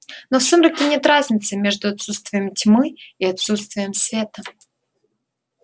но в сумраке нет разницы между отсутствием тьмы и отсутствием света